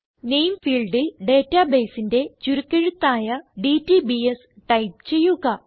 നാമെ ഫീൽഡിൽ databaseന്റെ ചുരുക്കെഴുത്തായ ഡിടിബിഎസ് ടൈപ്പ് ചെയ്യുക